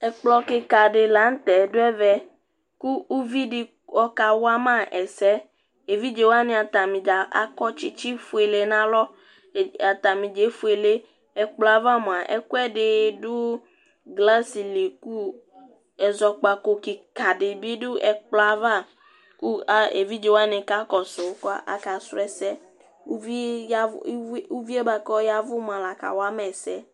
ɛkplokikɑ dilɑnutɛduɛvɛ ku uvidi ɔkɑwɑmɑɛsɛ ɛvidzɛwɑni dzɑ ɑkɔtsitsi fuɛyɛ nɑlɔ ɑtɑnidzɑ ɛfuele ɛkploɑvɑ muɑ ɛkuɛdi du glɑceli ézɔkpɑkọ kikɑ dibidu ɛkploɑvɑ ku ɛvidzɛwɑni kɑkósu kɑkạsuɛsɛ uviɛbuɑ ku ɔyɛvu lɑkɑwɑmɑ ɛsɛ